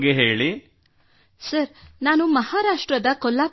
Abhidanya sir ನಾನು ಮಹಾರಾಷ್ಟ್ರದ ಕೊಲ್ಲಾಪುರದವಳು